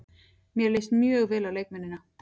Mér leist mjög vel á leikmennina.